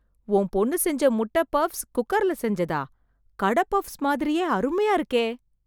உன் பொண்ணு செஞ்ச முட்டை பஃப்ஸ், குக்கர்ல செஞ்சதா... கடை பஃப்ஸ் மாதிரியே அருமையா இருக்கே..